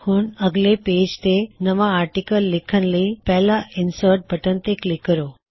ਹੁਣ ਅਗਲੇ ਪੇਜ ਤੇ ਨਵਾ ਆਰਟਿਕਲ ਲਿਖਣ ਲਈ ਪਹਿਲਾਂ ਇਨਸਰਟ ਬਟਨ ਤੇ ਕਲਿੱਕ ਕਰੋ